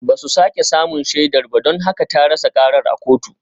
Ba su sake samun shaidar ba don haka ta rasa karar a kotu